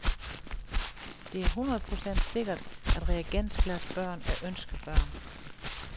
Det er hundrede procent sikkert, at reagensglasbørn er ønskebørn.